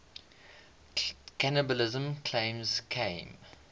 cannibalism claims came